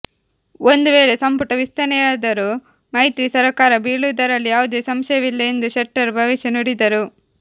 ಒಂದು ವೇಳೆ ಸಂಪುಟ ವಿಸ್ತರಣೆಯಾದರೂ ಮೈತ್ರಿ ಸರಕಾರ ಬೀಳುವುದರಲ್ಲಿ ಯಾವುದೇ ಸಂಶಯವಿಲ್ಲ ಎಂದು ಶೆಟ್ಟರ್ ಭವಿಷ್ಯ ನುಡಿದರು